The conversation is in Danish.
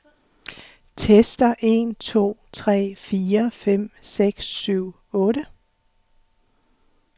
Tester en to tre fire fem seks syv otte.